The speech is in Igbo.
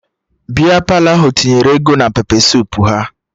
Bịa Palọ ahụ tinyere ego na pepe suup ha